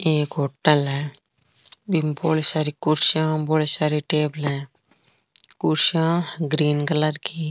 एक होटल है बीम बहोत सारी कुर्सियां बहोत सारी टेबलें है कुर्सियां ग्रीन कलर की।